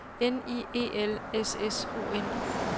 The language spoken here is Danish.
N I E L S S O N